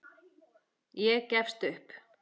Ég gefst upp.